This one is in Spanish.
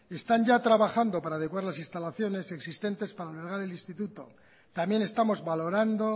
están ya trabajando para adecuar las instalaciones existentes para albergar el instituto también estamos valorando